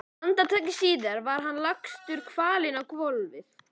Andartaki síðar var hann lagstur kvalinn á gólfið.